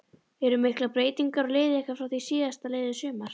Eru miklar breytingar á liði ykkar frá því síðastliðið sumar?